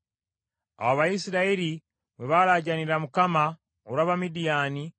Awo Abayisirayiri bwe baalaajanira Mukama olw’Abamidiyaani,